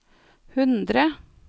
hundre